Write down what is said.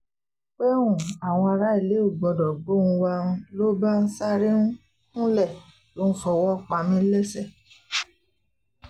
pé um àwọn aráalé ò gbọ́dọ̀ gbóhùn wa ń lọ bá sáré um kúnlẹ̀ ló ń fọwọ́ pa mí lẹ́sẹ̀